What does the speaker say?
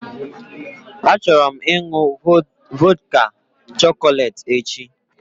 Achọrọ m ịnụ vodka chọcọlate echi